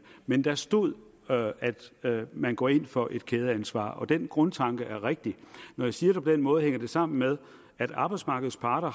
men der stod at man går ind for et kædeansvar og den grundtanke er rigtig når jeg siger det på den måde hænger det sammen med at arbejdsmarkedets parter